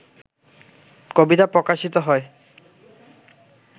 কবিতা প্রকাশিত হয়